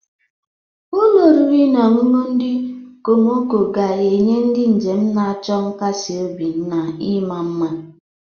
Ụlọ oriri na ọṅụṅụ ndị okomoko ga-enye ndị njem na-achọ nkasi obi na ịma mma.